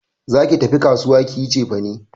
Za ki tafi kasuwa ki yi cefane!